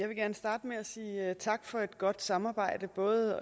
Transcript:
at sige tak for et godt samarbejde både